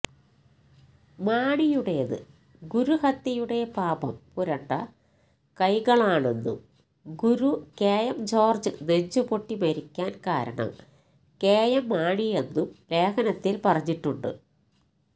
മാണിയുടേത് ഗുരുഹത്യയുടെ പാപം പുരണ്ട കൈകളാണെന്നും ഗുരു കെ എം ജോർജ്ജ് നെഞ്ചുപൊട്ടിമരിക്കാൻ കാരണം കെഎം മാണിയെന്നും ലേഖനത്തിൽ പറഞ്ഞിട്ടുണ്ട്്